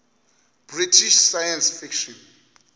british science fiction